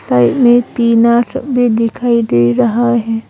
घर में टीना भी दिखाई दे रहा है।